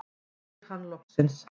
spyr hann loksins.